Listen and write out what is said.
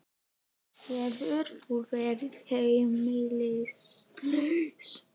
Hefur þú verið heimilislaus?